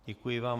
Děkuji vám.